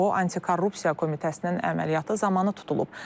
O antikorrupsiya komitəsinin əməliyyatı zamanı tutulub.